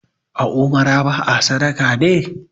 a umarar ba a sadaka ne!